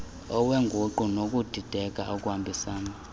lweenguqu nokudideka okuhambisana